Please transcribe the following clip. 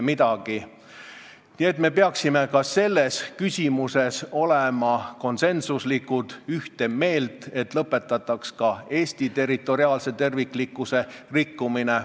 Nii et me peaksime ka selles küsimuses olema konsensuslikud, ühte meelt, et lõpetataks Eesti territoriaalse terviklikkuse rikkumine.